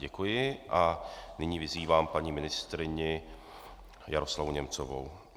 Děkuji a nyní vyzývám paní ministryně Jaroslavu Němcovou.